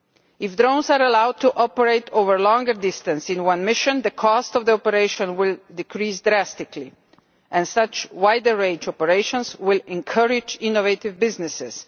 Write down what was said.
If drones are allowed to operate over a longer distance in one mission, the cost of the operation will decrease drastically, and wider range operations will encourage innovative businesses.